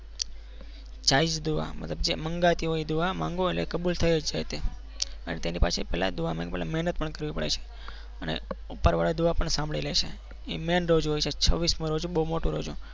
જાયઝ દુઆ મતલબ જે મંગાટી હોય એ દુઆ માંગો અને તે કબૂલ થઈ જ જાય છે અને તેની પાસે પહેલી દુઆ મતલબ મહેનત પણ કરવી પડે છે અને ઉપરવાળા દુઆ પણ સાંભળી લે છે એ main રોજ હોય છે છવીસ મુ રોજો બહુ મોટું રોજુ